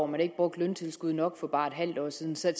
man ikke brugte løntilskud nok for bare en halv år siden så